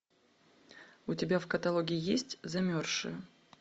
у тебя в каталоге есть замерзшие